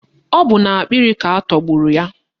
Ọ bụ n'akpịrị ka atọgburu ya.